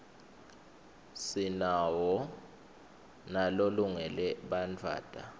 sinawo nalolungele bantfwatta